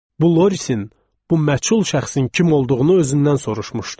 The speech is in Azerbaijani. Bu Lorisin, bu məchul şəxsin kim olduğunu özündən soruşmuşdu.